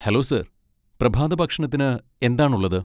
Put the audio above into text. Hello sir, പ്രഭാതഭക്ഷണത്തിന് എന്താണ് ഉള്ളത്?